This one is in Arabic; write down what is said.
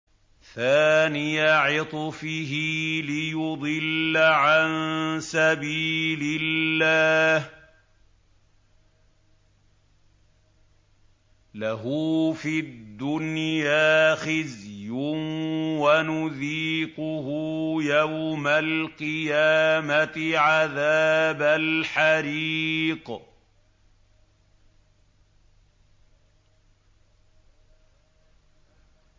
ثَانِيَ عِطْفِهِ لِيُضِلَّ عَن سَبِيلِ اللَّهِ ۖ لَهُ فِي الدُّنْيَا خِزْيٌ ۖ وَنُذِيقُهُ يَوْمَ الْقِيَامَةِ عَذَابَ الْحَرِيقِ